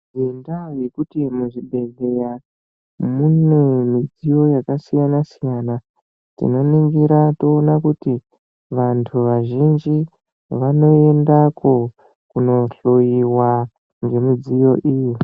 Ngendaa yekuti muzvibhedhleya mune midziyo yakasiyana siyana, tinoningira toona kuti vantu vazhinji vanoendako kuno hloiwa ngemidziyo iyi.